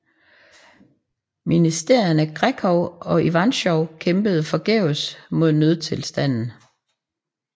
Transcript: Ministerierne Grekov og Ivantschov kæmpede forgæves mod nødstilstanden